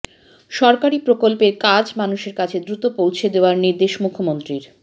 সরকারি প্রকল্পের কাজ মানুষের কাছে দ্রুত পৌঁছে দেওয়ার নির্দেশ মুখ্যমন্ত্রীর